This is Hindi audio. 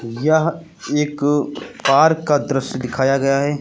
यह एक पार्क का दृश्य दिखाया गया है।